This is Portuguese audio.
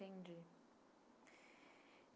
Entendi.